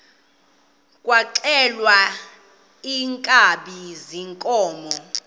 kwaxhelwa iinkabi zeenkomo